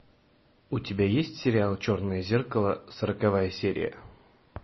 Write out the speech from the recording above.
у тебя есть сериал черное зеркало сороковая серия